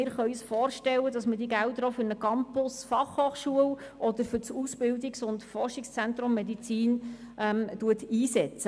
Das heisst, wir können uns vorstellen, dass man diese Gelder auch für einen Campus Fachhochschule oder für das Ausbildungs- und Forschungszentrum Medizin einsetzt.